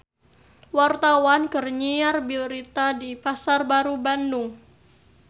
Wartawan keur nyiar berita di Pasar Baru Bandung